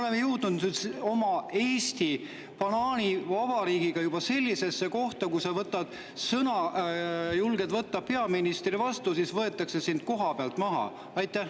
Kas me nüüd oleme jõudnud oma Eesti banaanivabariigiga juba sellisesse kohta, et kui sa julged võtta sõna peaministri vastu, siis võetakse sind koha pealt maha?